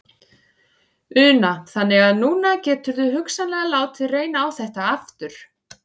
Una: Þannig að núna geturðu hugsanlega látið reyna á þetta aftur?